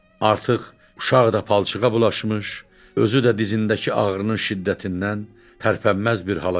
Artıq uşaq da palçığa bulaşmış, özü də dizindəki ağrının şiddətindən tərpənməz bir hala gəlmişdi.